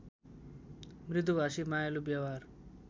मृदुभाषी मायालु व्यवहार